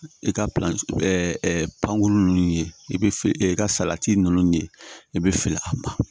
I ka ninnu ye i bɛ i ka salati ninnu ye i bɛ fili a ma